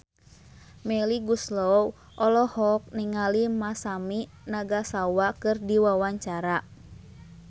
Melly Goeslaw olohok ningali Masami Nagasawa keur diwawancara